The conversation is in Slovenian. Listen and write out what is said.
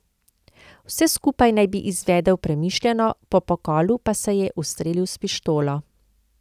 Vse skupaj naj bi izvedel premišljeno, po pokolu pa se je ustrelil s pištolo.